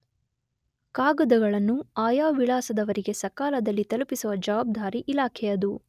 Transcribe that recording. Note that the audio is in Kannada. ಕಾಗದಗಳನ್ನು ಆಯಾ ವಿಳಾಸದವರಿಗೆ ಸಕಾಲದಲ್ಲಿ ತಲುಪಿಸುವ ಜವಾಬ್ದಾರಿ ಇಲಾಖೆಯದು.